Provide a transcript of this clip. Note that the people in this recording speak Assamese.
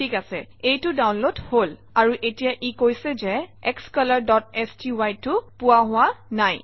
ঠিক আছে এইটো ডাউনলোড হল আৰু এতিয়া ই কৈছে যে xcolorsty টো পোৱা হোৱা নাই